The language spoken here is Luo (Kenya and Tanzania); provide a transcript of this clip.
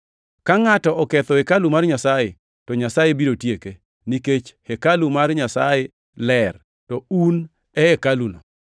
Ka ngʼato oketho hekalu mar Nyasaye, to Nyasaye biro tieke, nikech hekalu mar Nyasaye ler, to un e hekaluno.